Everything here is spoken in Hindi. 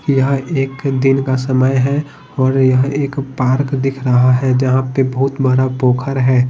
यह एक दिन का समय है और यह एक पार्क दिख रहा है जहां पे बहुत बड़ा पोखर है।